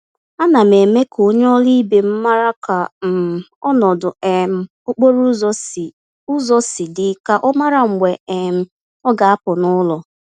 Ánám eme k'onye ọrụ ibe m màrà ka um ọnọdụ um okporo ụzọ si ụzọ si dị, ka ọ mara mgbe um ọ ga-apụ n'ụlọ.